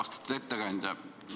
Austatud ettekandja!